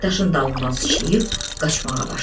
Hek daşın dalından sıçrayıb qaçmağa başladı.